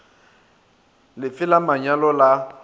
le fe la manyalo la